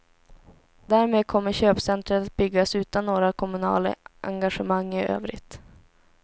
Därmed kommer köpcentret att byggas utan några kommunala engagemang i övrigt.